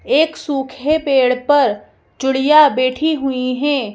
एक सूखे पेड़ पर चुड़िया बैठी हुई हैं।